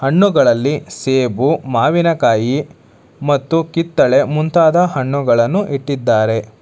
ಹಣ್ಣುಗಳಲ್ಲಿ ಸೇಬು ಮಾವಿನ ಕಾಯಿ ಮತ್ತು ಕಿತ್ತಳೆ ಮುಂತಾದ ಹಣ್ಣುಗಳನ್ನು ಇಟ್ಟಿದ್ದಾರೆ.